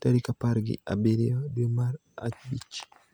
tarik apar gi abiriyo dwe mar abich.